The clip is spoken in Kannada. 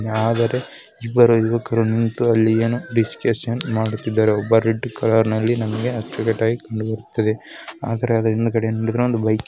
ಆದರೆ ಇಬ್ಬರು ಯುವಕರು ನಿಂತು ಅಲ್ಲಿ ಏನೋ ಡಿಸ್ಕಶನ್ ಮಾಡುತಿದ್ದರು ಒಬ್ಬರು ನಮಗೆ ಅಚ್ಚುಕಟ್ಟಾಗಿ ಕಂಡುಬರುತಿದ್ದೆ. ಆದರೆ ಅದರ ಹಿಂದಗಡೆ